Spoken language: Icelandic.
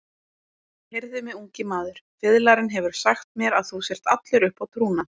Heyrðu mig, ungi maður, fiðlarinn hefur sagt mér að þú sért allur uppá trúna.